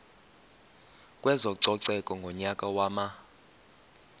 kwezococeko ngonyaka wama